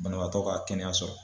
Banabaatɔ ka kɛnɛya sɔrɔ.